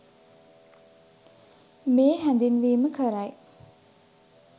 මේ හැඳින්වීම කරයි.